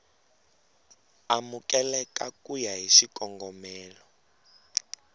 amukeleka ku ya hi xikongomelo